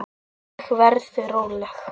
Ég verð róleg.